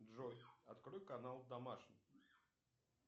джой открой канал домашний